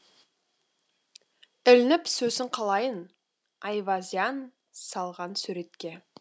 ілініп сосын қалайын айвазян салған суретке